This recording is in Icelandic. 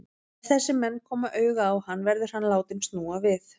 Ef þessir menn koma auga á hann, verður hann látinn snúa við.